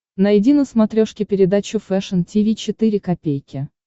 найди на смотрешке передачу фэшн ти ви четыре ка